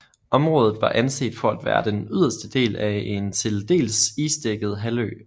Området var anset for at være den yderste del af en til dels isdækket halvø